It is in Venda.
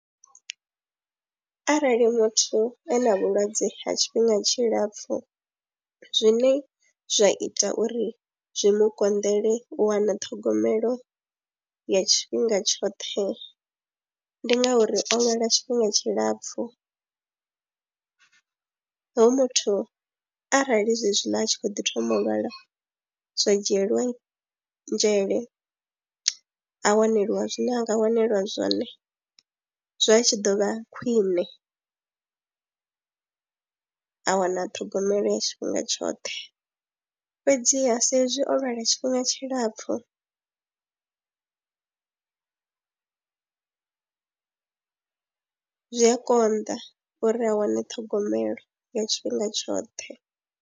Arali muthu a na vhulwadze ha tshifhinga tshilapfhu zwine zwa ita uri zwi mu konḓele u wana ṱhogomelo ya tshifhinga tshoṱhe ndi ngauri o awela tshifhinga tshilapfhu, hoyu muthu arali zwezwiḽa a tshi khou ḓi thoma u lwala zwa dzhielwa nzhele, a waneliwa zwiḽiwa nga waneliwa zwone zwa tshi ḓo vha khwiṋe, a wana ṱhogomelo ya tshifhinga tshoṱhe fhedziha sa ezwi o lwala tshifhinga tshilapfhu zwi a konḓa uri a wane ṱhogomelo ya tshifhinga tshoṱhe.